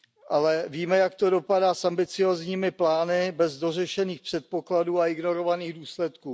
Ale víme, jak to dopadá s ambiciózními plány bez dořešených předpokladů a ignorovaných důsledků.